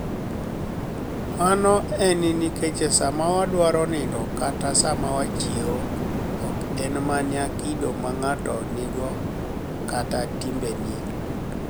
Mano eni niikech sama wadwaro niinido kata sama wachiewo, ok eni mania kido ma nig'ato niigo kata timbeni e.